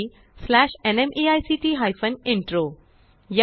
spoken tutorialorgnmeict intro